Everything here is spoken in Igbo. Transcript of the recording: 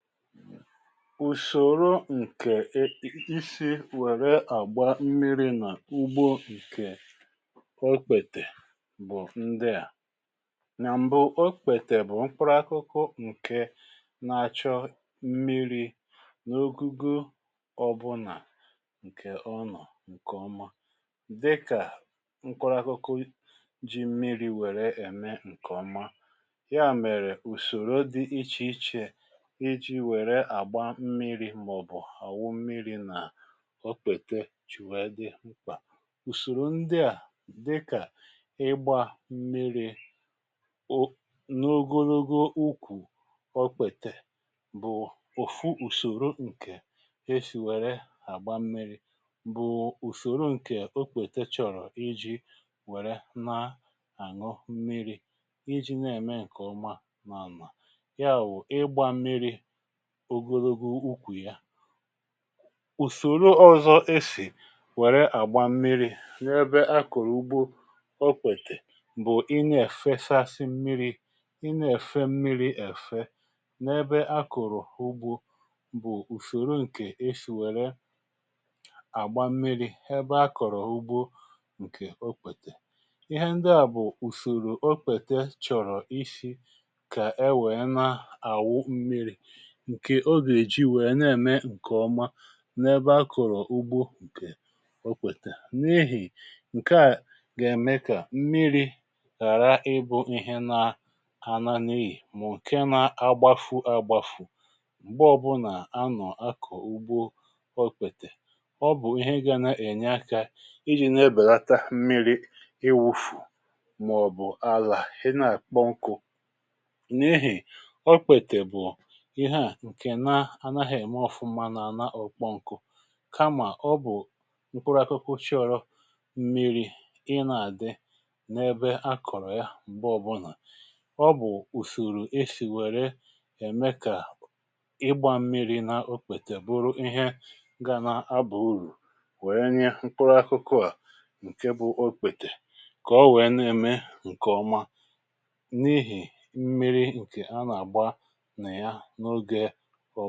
Ùsòro ǹkè isi wèrè àgbà mmiri̇ nà ugbo ǹkè okpètè bụ̀ ndịà: nà m̀bụ okpètè bụ̀ mkpụrụ akụkụ ǹkè na-achọ mmiri̇ n’ogugo ọbụnà ǹkè ọ nọ̀ ǹkè ọma dịkà ǹkpụrụ akụkụ ji mmiri̇ wèrè ème ǹkè ọma ya mèrè ùsòro dị ichèichè ijị̇ wèrè àgba mmiri̇ màọ̀bụ̀ àwụ mmiri̇ nà okpètè jì nwèe dị mkpà. Ùsòrò ndị à dịkà ịgbȧ mmiri̇ o n’ogologo ukwù okpètè bụ̀ òfu ùsòrò ǹkè esì wère àgba mmiri̇ bụ̀ ùsòrò ǹkè okpètè chọ̀rọ̀ iji̇ wère nà-àṅụ mmiri̇ iji̇ na-ème ǹkè ọma n’ànwà ya wụ̀, ịgbȧ mmiri̇ ògologo ukwù ya. Ùsòro ọzọ esì wère àgbà mmiri̇ n’ebe akọ̀rọ̀ ugbo okpètè bụ̀ ị nà-èfesasị mmiri̇ ị nà-èfe mmiri̇ èfe n’ebe akọ̀rọ̀ ugbo bụ̀ ùsòro ǹkè esì wère àgbà mmiri̇ ebe akọ̀rọ̀ ugbo ǹkè okpètè. Ihe ndị à bụ̀ ùsòrò okpètè chọ̀rọ̀ isi̇ kà e wèe na-àwụ mmiri̇ ǹkè ọga eji wee na eme nke ọma n’ebe akụ̀rụ̀ ugbo ǹkè okpètè n’ihì ǹkèa gà-ème kà mmiri̇ ghàra ịbụ̇ ihe nà anȧ-n'iyì bụ̀ ǹke na-agbafu agbȧfụ̀ m̀gbè ọ̀bụlà a nọ̀ akụ̀ ugbo okpete ọ bụ̀ ihe ga na-ènye akȧ ijì na-ebèlata mmiri̇ iwufù mà ọ̀ bụ̀ àlà ị nà-àkpọ nkụ n’ihì okpete bu ihe a nke nà ànaghẹ̀ èmé ọfụma nà anà okpòǹkù kamà ọ bụ̀ mkpụrụ akụkụ chọrọ̇ mmiri̇ ị nà àdị n’ẹbẹ a kọ̀rọ̀ yà m̀gbe ọbụnà ọ bụ̀ ùsoro esì wẹ̀rẹ ème kà ịgbȧ mmiri̇ n’okpètè bụrụ ihe gȧ n’abà urù wẹẹ nye mkpụrụ akụkụ à ǹkẹ bụ okpètè kà o wẹ̀ẹ nà ème ǹkẹ̀ ọma n’ihì mmiri̇ ǹkè a nà àgba nà ya na ogė fọdụ.